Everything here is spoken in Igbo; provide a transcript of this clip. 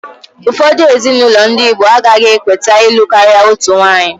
Ụfọdụ ezinaụlọ ndị igbo agaghị ekweta ịlụ karịa otu nwanyị